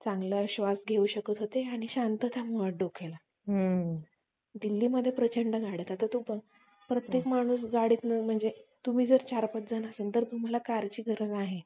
laptop